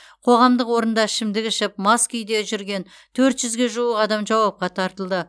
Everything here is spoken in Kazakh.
қоғамдық орында ішімдік ішіп мас күде жүрген төрт жүзге жуық адам жауапқа тартылды